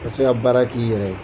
Ka se ka baara k'i yɛrɛ ye.